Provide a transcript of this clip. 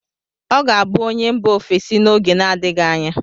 Ọ ga-abụ onye mgba ofesi n'oge na-adịghị anya.